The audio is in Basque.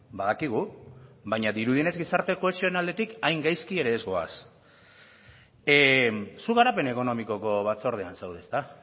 badakigu baina dirudienez gizarte kohesionaletik hain gaizki ere ez goaz zu garapen ekonomikoko batzordean zaude ezta